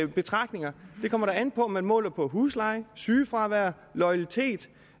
betragtninger kommer da an på om man måler på husleje sygefravær loyalitet